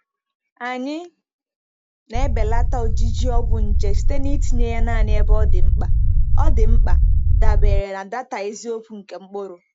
Anyị na-ebelata ojiji ọgwụ nje site na itinye ya naanị ebe ọ dị mkpa, ọ dị mkpa, dabere na data eziokwu nke mkpụrụ.